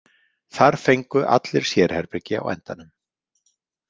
Þar fengu allir sérherbergi á endanum.